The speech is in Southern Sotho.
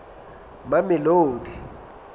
mamelodi